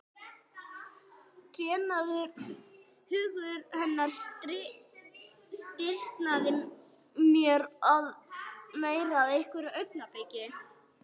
Trénaður hugur hennar stirðnaði meir með hverju augnabliki.